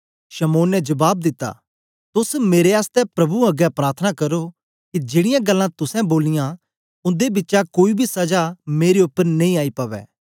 शमौन ने जबाब दिता तोस मेरे आसतै प्रभु अगें प्रार्थना करो के जेड़ीयां गल्लां तुसें बोलियां उंदे बिचा कोई बी सजा मेरे उपर नेई आई पवै